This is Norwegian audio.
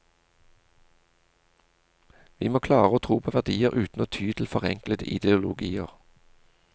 Vi må klare å tro på verdier uten å ty til forenklede ideologier.